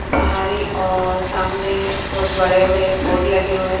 भारी और सामने बहुत बड़े बड़े बोर्ड लगे हुए हैं।